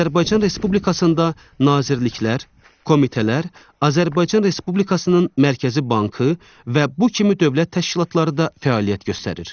Azərbaycan Respublikasında nazirliklər, komitələr, Azərbaycan Respublikasının Mərkəzi Bankı və bu kimi dövlət təşkilatları da fəaliyyət göstərir.